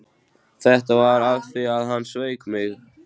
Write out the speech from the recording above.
Það var af því að hann sveik mig.